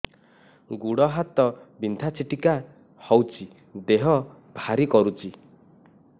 ଗୁଡ଼ ହାତ ବିନ୍ଧା ଛିଟିକା ହଉଚି ଦେହ ଭାରି କରୁଚି